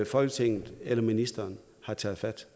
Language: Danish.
folketinget eller ministeren har taget fat